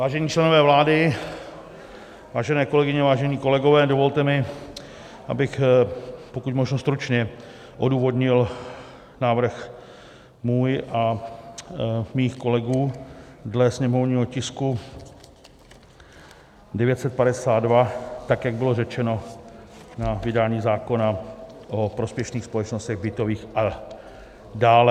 Vážení členové vlády, vážené kolegyně, vážení kolegové, dovolte mi, abych pokud možno stručně odůvodnil návrh svůj a mých kolegů dle sněmovního tisku 952 tak, jak bylo řečeno, na vydání zákona o prospěšných společnostech bytových a dále.